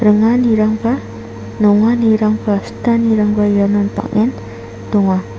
ringanirangba nonganirangba sitanirangba ianon bang·en donga.